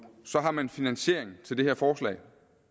så har man finansiering til det her forslag